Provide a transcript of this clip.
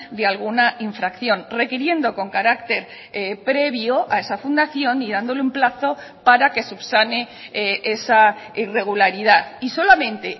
de alguna infracción requiriendo con carácter previo a esa fundación y dándole un plazo para que subsane esa irregularidad y solamente